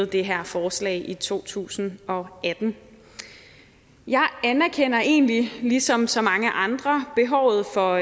det her forslag i to tusind og atten jeg anerkender egentlig ligesom så mange andre behovet for